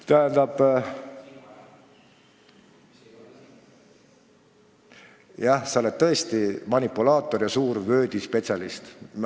Tähendab, jah, sa oled tõesti manipulaator ja suur Wordi spetsialist.